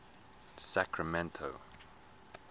sacramento